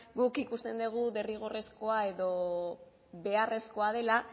guk ikusten dugu derrigorrezkoa edo beharrezkoa dela